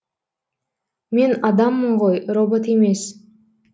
мен адаммын ғой робот емес